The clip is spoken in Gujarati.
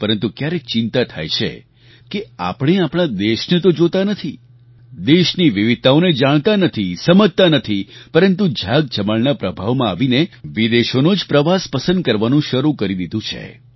પરંતુ ક્યારેક ચિંતા થાય છે કે આપણે આપણા દેશને તો જોતા નથી દેશની વિવિધતાઓને જાણતા નથી સમજતા નથી પરંતુ ઝાકઝમાળના પ્રભાવમાં આવીને વિદેશોનો જ પ્રવાસ પસંદ કરવાનું શરૂ કરી દીધંન છે